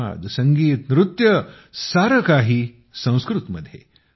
संवाद संगीत नृत्य सारे काही संस्कृतमध्ये